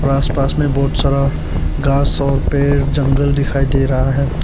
और आस पास में बहोत सारा घास और पेड़ जंगल दिखाई दे रहा है।